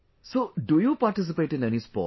So do you participate in any sport